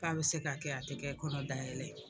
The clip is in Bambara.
K' a bɛ se ka kɛ a tɛ kɛ kɔnɔ dayɛlɛ ye